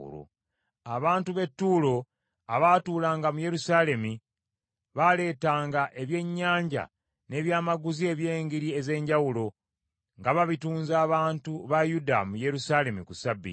Abantu b’e Ttuulo abaatuulanga mu Yerusaalemi, baaleetanga ebyennyanja n’ebyamaguzi eby’engeri ez’enjawulo, nga babitunza abantu ba Yuda mu Yerusaalemi ku Ssabbiiti.